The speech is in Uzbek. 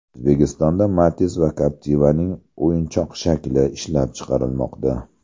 O‘zbekistonda Matiz va Captiva’ning o‘yinchoq shakli ishlab chiqarilmoqda.